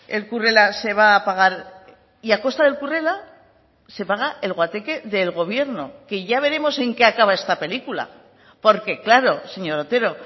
el currela se va a pagar y a costa del currela se paga el guateque del gobierno que ya veremos en qué acaba esta película porque claro señor otero